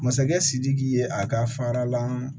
Masakɛ sidiki ye a ka fara la